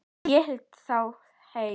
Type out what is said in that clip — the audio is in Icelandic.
Hélt þá heim.